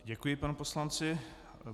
Děkuji panu poslanci.